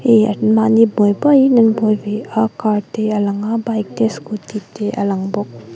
an mahni buai buaiin an buai ve a car te a lang a bike te scooty te a lang bawk.